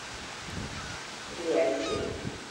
грязи